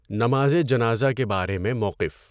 نمازِ جنازہ کے بارے میں موقف